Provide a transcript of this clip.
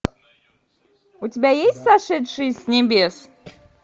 у тебя есть сошедшие с небес